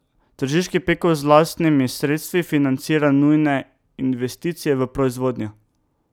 Tržiški Peko z lastnimi sredstvi financira nujne investicije v proizvodnjo.